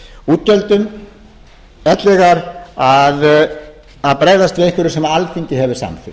útgjöldum ellegar að bregðast við einhverju sem alþingi hefur samþykkt